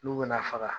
N'u bɛna faga